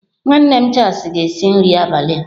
Nwanne m Charles ga-esi nri abalị a.